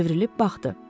Çevrilib baxdı.